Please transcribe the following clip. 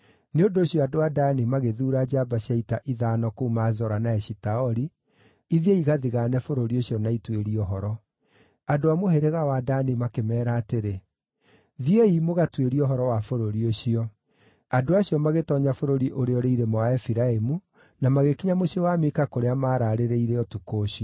Nĩ ũndũ ũcio andũ a Dani magĩthuura njamba cia ita ithano kuuma Zora na Eshitaoli ithiĩ igathigaane bũrũri ũcio na ituĩrie ũhoro. Andũ a mũhĩrĩga wa Dani makĩmeera atĩrĩ, “Thiĩi, mũgatuĩrie ũhoro wa bũrũri ũcio.” Andũ acio magĩtoonya bũrũri ũrĩa ũrĩ irĩma wa Efiraimu na magĩkinya mũciĩ wa Mika kũrĩa maararĩrĩire ũtukũ ũcio.